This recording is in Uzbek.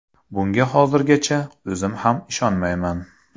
Bunga hozirgacha o‘zim ham ishonmayman.